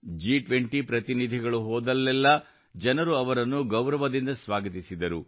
ಜಿ20 ಪ್ರತಿನಿಧಿಗಳು ಹೋದಲ್ಲೆಲ್ಲಾ ಜನರು ಅವರನ್ನು ಗೌರವದಿಂದ ಸ್ವಾಗತಿಸಿದರು